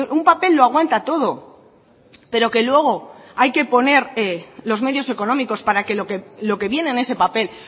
un papel lo aguanta todo pero que luego hay que poner los medios económicos para que lo que viene en ese papel